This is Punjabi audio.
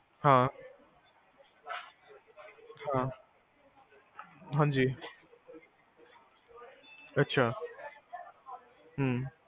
ਹਾਂ ਹਾਂ ਹਾਂਜੀ ਅੱਛਾ ਹਮ